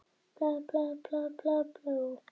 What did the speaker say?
Ekkert annað heyrðist en lagið.